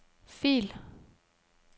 fil